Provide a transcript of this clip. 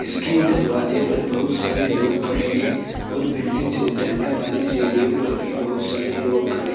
इसके दरवाजे पर बहुत सारे लोग खड़े हैं और बिल्डिंग से उतरने वाली सीढ़ियों पर भी बहुत सारे लोग खड़े--